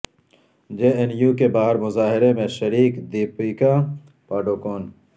جے N U کے باہر مظاہرے میں شریک دپیکا پاڈوکون